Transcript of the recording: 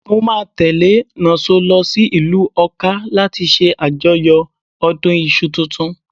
Mo máa tẹ́lẹ̀ Nonso lọ sí ìlú Ọká láti ṣe àjọyọ̀ ọdún iṣu tuntun.